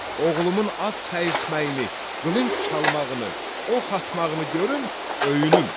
Oğlumun at səyirtməyini, qılınc çalmağını, ox atmağını görüm, öyünüm.